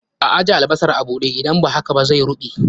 A ajje albasar a buɗe, idan ba haka zai ruɓe